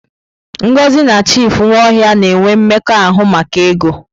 Ngozi na Chief Nwaohia na-ewe mmekọahụ maka ego.